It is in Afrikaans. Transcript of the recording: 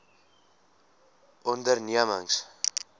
ondernemings